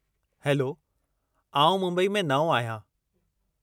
Hello , आऊं मुंबई में नओं आहियां।